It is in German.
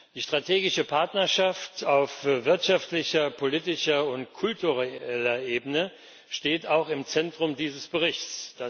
Die strategische Partnerschaft auf wirtschaftlicher, politischer und kultureller Ebene steht auch im Zentrum dieses Berichts.